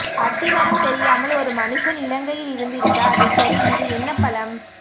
அத்தி மரம் தெரியாமல் ஒரு மனுசன் இலங்கையில் இருந்திருக்கு அது சரி இது என்ன பழம்